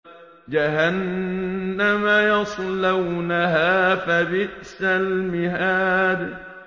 جَهَنَّمَ يَصْلَوْنَهَا فَبِئْسَ الْمِهَادُ